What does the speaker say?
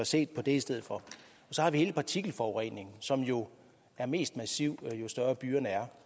set på det i stedet for så har vi hele partikelforureningen som er mest massiv jo større byerne er